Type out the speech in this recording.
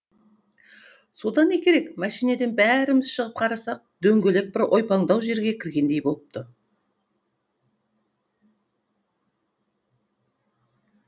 содан не керек мәшинеден бәріміз шығып қарасақ дөңгелек бір ойпаңдау жерге кіргендей болыпты